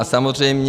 A samozřejmě...